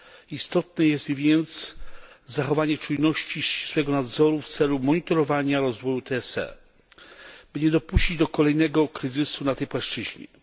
Istotne jest więc zachowanie czujności i ścisłego nadzoru w celu monitorowania rozwoju TSE, by nie dopuścić do kolejnego kryzysu na tej płaszczyźnie.